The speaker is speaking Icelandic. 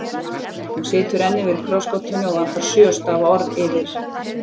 Hún situr enn yfir krossgátunni og vantar sjö stafa orð yfir